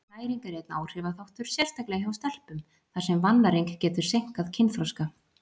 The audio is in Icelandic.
Næring er einnig áhrifaþáttur, sérstaklega hjá stelpum, þar sem vannæring getur seinkað kynþroska.